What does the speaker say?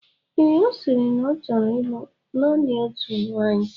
Ee, ọ sịrị na ọ ọ chọrọ ịlụ naanị otu nwaanyị.